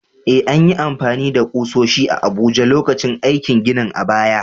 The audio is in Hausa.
Eh, an yi amfani da ƙusoshi a Abuja lokacin aikin ginin a baya.